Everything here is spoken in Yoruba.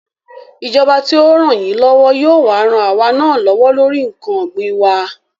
Ìjọba tí ó rànyínlọ́wọ́ yóò wá ran àwa náà lọ́wọ́ lórí ǹkan ògbìn wa